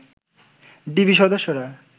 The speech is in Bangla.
ডিবি সদস্যরা